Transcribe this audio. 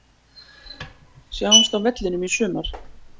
Sjáumst á vellinum í sumar!